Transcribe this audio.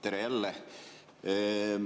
Tere jälle!